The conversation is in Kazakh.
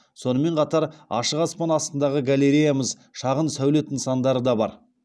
сонымен қатар ашық аспан астындағы галереямыз шағын сәулет нысандары да бар